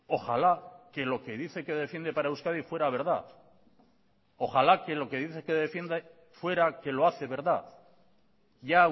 ojalá que lo que dice que defiende para euskadi fuera verdad ojalá que lo que dice que defiende fuera que lo hace verdad ya